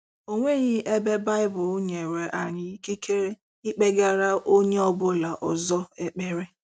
O nweghị ebe Baịbụl nyere anyị ikike ikpegara onye ọ bụla ọzọ ekpere.